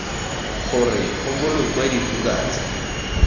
gore go bolokwe dibuka tse